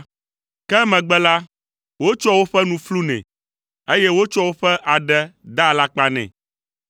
Ke emegbe la, wotsɔa woƒe nu flunɛ, eye wotsɔa woƒe aɖe daa alakpa nɛ.